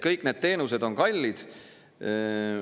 Kõik need teenused on kallid.